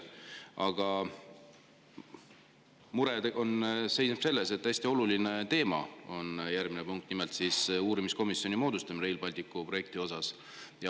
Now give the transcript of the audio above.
Aga mure seisneb selles, et hästi oluline teema on järgmises punktis, nimelt uurimiskomisjoni moodustamine Rail Balticu projekti jaoks.